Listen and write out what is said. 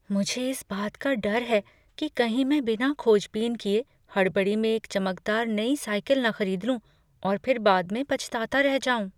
मुझे इस बात का डर है कि कहीं मैं बिना खोज बीन किए हड़बड़ी में एक चमकदार नई साइकिल न खरीद लूँ और फिर बाद में पछताता रह जाऊँ।